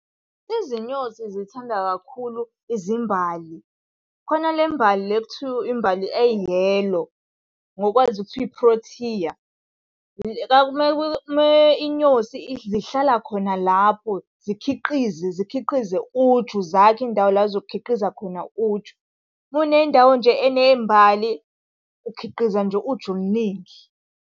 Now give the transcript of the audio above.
Izinyosi zithanda kakhulu izimbali. Khona le mbali le ekuthiwa imbali e-yellow, ngokwazi kuthiwa i-Protea. inyosi, zihlala khona lapho zikhiqize zikhiqize uju, zakhe indawo la ey'zokhiqiza khona uju. Uma unendawo nje eney'mbali, ukhiqiza nje uju oluningi.